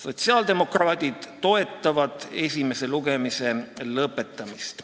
Sotsiaaldemokraadid toetavad eelnõu esimese lugemise lõpetamist.